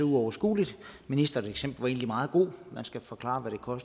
uoverskueligt ministerens eksempel var meget godt man skal forklare